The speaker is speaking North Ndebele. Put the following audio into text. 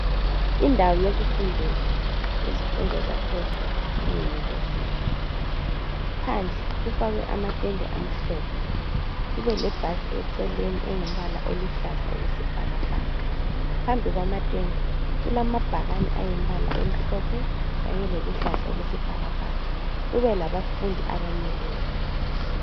Indawo yokufundela izifundo zaphezulu iyunivesithi. Phandle kufakwe amatende amhlophe kube lebhasi eceleni engumbala oluhlaza okwesibhakabhaka. Phambi kwamatende kulamabhakani ayimbala emhlophe kanye leluhlaza okwesibhakabhaka, kube labafundi abamileyo.